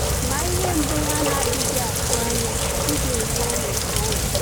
Ma ihe mgbu ha na-adịghị atụ anya adịghị enye anyị ọṅwụ.